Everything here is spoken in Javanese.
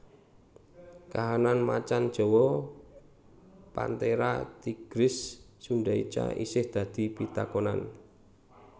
Kahanan macan jawa Panthera tigris sundaica isih dadi pitakonan